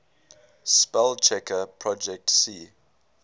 spellchecker projet c